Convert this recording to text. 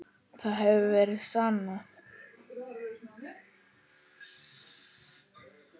Það hefur verið sannað.